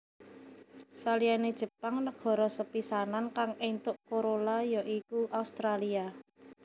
Saliyane Jepang negara sepisanan kang éntuk Corolla ya iku Australia